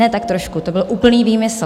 Ne tak trošku, to byl úplný výmysl.